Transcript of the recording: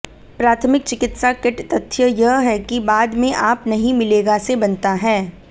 प्राथमिक चिकित्सा किट तथ्य यह है कि बाद में आप नहीं मिलेगा से बनता है